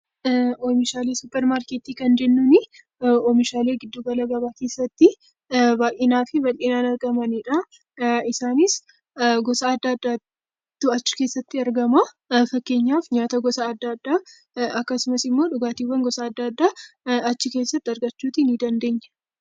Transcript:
Oomishaalee suuparmaarketii kan jennuuni oomishaalee gidduu gala gabaa keessatti baay'inaa fi bal'inaan argamanidha. Isaanis gosa adda addaatu achi keessatti argama. Fakkeenyaaf nyaata gosa adda addaa akkasumas immoo dhugaatiiwwan gosa addaa achi keessatti argachuuti ni dandeenya.